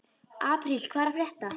Apríl, hvað er að frétta?